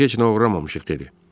Biz heç nə oğurlamamışıq, dedi.